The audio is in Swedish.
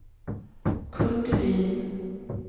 Kurt Edin